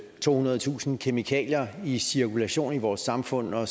tohundredetusind kemikalier i cirkulation i vores samfund og